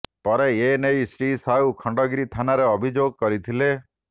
ପରେ ଏ ନେଇ ଶ୍ରୀ ସାହୁ ଖଣ୍ଡଗିରି ଥାନାରେ ଅଭିଯୋଗ କରିଥିଲେ